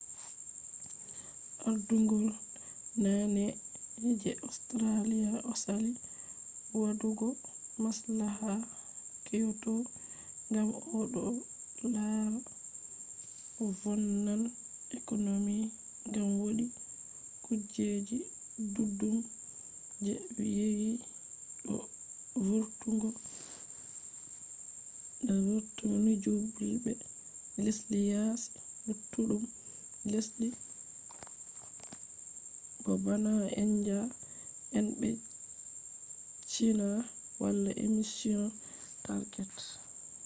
ardungol naane je austrialia osali wadugo maslaha kyoto ngam odo lara vonnan economy ngam wodi kujeji duddum je yewi do vurtungo nyjulbe lesdi yaasi luttudum lesdi bo bana india en be china wala emission targets